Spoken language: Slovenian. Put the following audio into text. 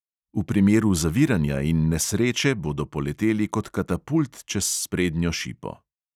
V primeru zaviranja in nesreče bodo poleteli kot katapult čez sprednjo šipo!